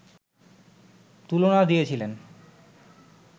তুলনা দিয়েছিলেন